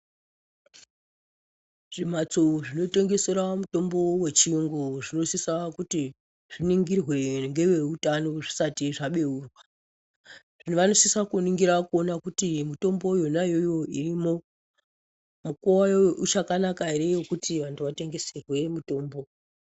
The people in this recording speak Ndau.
Zvimhatsi zvinotengesera mutombo yechiyungu zvinosisa kuti zviningirwe ngeveutano zvisati zvabeurwa vanosisa kuningira kuona kuti mutombo yona iyoyo irimo mukuwo wayo uchakanaka ere wekuti vantu vatengeserwe mutombo.